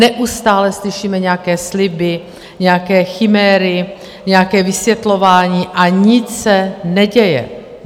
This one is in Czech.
Neustále slyšíme nějaké sliby, nějaké chiméry, nějaké vysvětlování a nic se neděje.